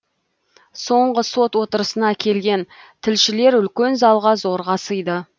соңғы сот отырысына келген тілшілер үлкен залға зорға сыйды